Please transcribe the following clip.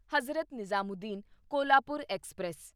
Hazrat Nizamuddin Kolhapur express